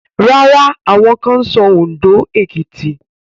Rárá, àwọn kan ń sọ Òndó, Èkìtì